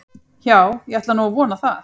Já, ég ætla nú að vona það.